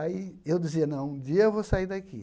Aí eu dizia, não, um dia eu vou sair daqui.